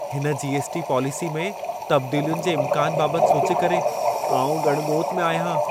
हिन GST. Policy में तब्दीलियुनि जे इम्कान बाबत सोचे करे, आउं ॻण ॻोत में आहियां।